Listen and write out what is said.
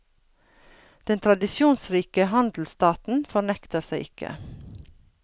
Den tradisjonsrike handelsstaten fornekter seg ikke.